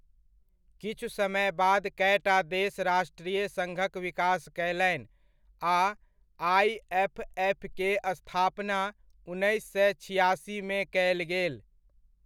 किछु समय बाद कएटा देश राष्ट्रीय सङ्घक विकास कयलनि, आ आइएफएफ के स्थापना उन्नैस सए छिआसीमे कयल गेल।